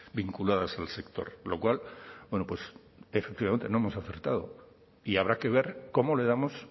vinculados al sector lo cual bueno pues efectivamente no hemos acertado y habrá que ver cómo le damos